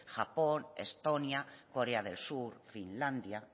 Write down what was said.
japón estonia corea del sur finlandia